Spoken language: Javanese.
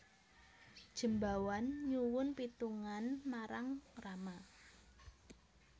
Jembawan nyuwun pitungan marang Rama